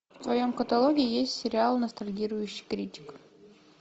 в твоем каталоге есть сериал ностальгирующий критик